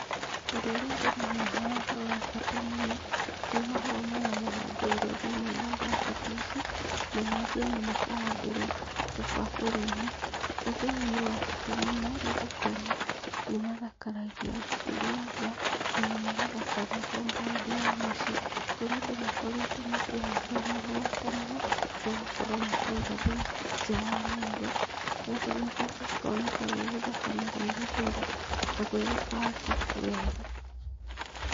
Ũndũ ũrĩa ndĩrona haha wa bata mũno, nĩ mahũa maya mahandĩirwo thĩiniĩ wa mbaketi ici, na mangĩ ona makahandĩrwo tũbakũri-inĩ. Ũndũ ũyũ nĩ wa bata mũno, nĩ gũkorwo nĩ mathakaragia nyũmba ona magathakaria compound ya mũciĩ, kũrĩa andũ makoretwo makĩhanda mahũa, ta maya, magakorwo makĩiga nja wa nyũmba, nakuo nyũmba gũkoneka gwĩ gũthaka na gwĩ gũtheru, na gwĩ gũbangĩku wega.